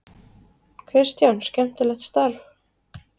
Kristján: Skemmtilegt starf?